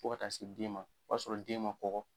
Fo ka taa se den ma, o y'a sɔrɔ den ma kɔkɔ